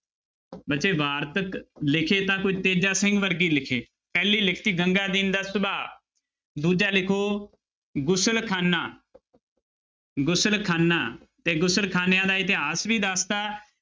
ਬੱਚੇ ਵਾਰਤਕ ਲਿਖੇ ਤਾਂ ਕੋਈ ਤੇਜਾ ਸਿੰਘ ਵਰਗੇ ਹੀ ਲਿਖੇ, ਪਹਿਲੀ ਲਿਖੀ ਗੰਗਾਦੀਨ ਦਾ ਸੁਭਾ, ਦੂਜਾ ਲਿਖੋ ਗੁਸਲਖਾਨਾ ਗੁਸਲਖਾਨਾ ਤੇ ਗੁਸਲਖਾਨਿਆਂ ਦਾ ਇਤਿਹਾਸ ਵੀ ਦੱਸ ਦਿੱਤਾ,